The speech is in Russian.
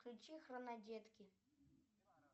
включи хронодетки